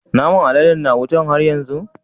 Naman aladen na wuta har yanzu?